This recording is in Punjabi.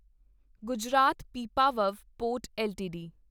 Gujarat Pipavav port LTD